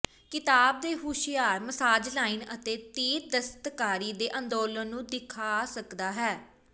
ਕਿਤਾਬ ਤੇ ਹੁਸ਼ਿਆਰ ਮਸਾਜ ਲਾਈਨ ਅਤੇ ਤੀਰ ਦਸਤਕਾਰੀ ਦੇ ਅੰਦੋਲਨ ਨੂੰ ਦਿਖਾ ਰੱਖਦਾ ਹੈ